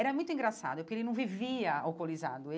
Era muito engraçado, porque ele não vivia alcoolizado ele.